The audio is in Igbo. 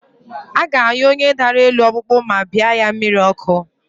A ga-anyụ onye dara elu ọkpụkpụ ma bịa ya mmiri ọkụ